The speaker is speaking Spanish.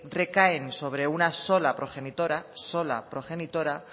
recaen sobre una sola progenitora sola progenitora